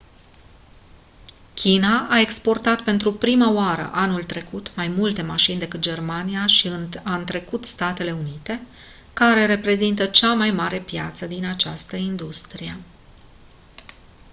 china a exportat pentru prima oară anul trecut mai multe mașini decât germania și a întrecut statele unite care reprezintă cea mai mare piață din această industrie